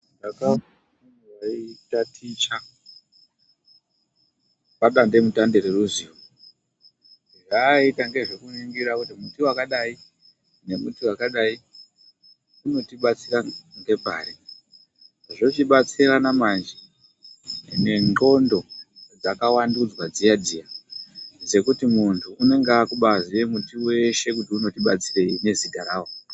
Akange eitaticha padande mutande reruziyohaaita ngezvekuningira kuti muti wakadai nemuti wakadai unotibatsira ngepari zvochibatsirana manje nendxondo dzakawandudzwa dziya dziya dzekuti muntu unenge akubaziye muti weshe kuti unOti batsirei nezita rawo.